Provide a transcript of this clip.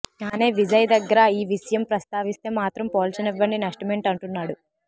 కానీ విజయ్ దగ్గర ఈ విషయం ప్రస్తావిస్తే మాత్రం పోల్చనివ్వండి నష్టమేంటి అంటున్నాడు